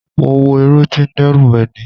Mo wọ̀ eré tí ó ń dẹ́rù bani.